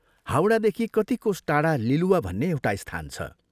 हाउडादेखि कति कोस टाढा लिलुवा भन्ने एउटा स्थान छ।